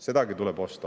Sedagi tuleb osta.